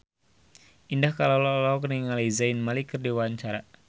Indah Kalalo olohok ningali Zayn Malik keur diwawancara